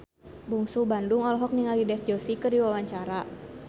Bungsu Bandung olohok ningali Dev Joshi keur diwawancara